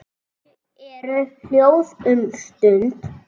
Þau eru hljóð um stund.